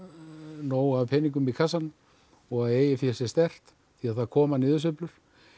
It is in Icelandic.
nóg af peningum í kassanum og eigið fé sé sterkt því það koma niðursveiflur